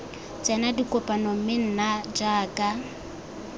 tsena dikopano mme nna jaaka